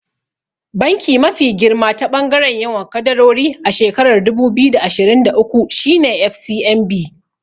Banki mafi girma ta ɓangaren yawan kadarori a shekarar dubu biyu da ashirin da uku shine FCMB.